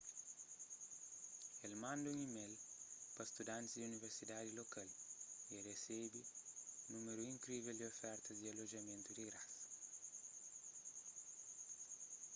el manda un email pa studantis di universitadi lokal y el resebe un númeru inkrivel di ofertas di alojamentu di grasa